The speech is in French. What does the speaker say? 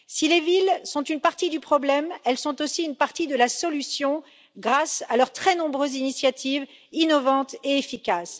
Si les villes sont une partie du problème, elles sont aussi une partie de la solution, grâce à leur très nombreuses initiatives innovantes et efficaces.